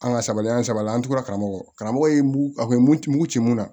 An ka sabali an saba la an tora karamɔgɔ karamɔgɔ ye a bɛ mun ci mun na